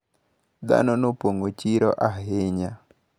Dhano nopong`o chiro ahinya.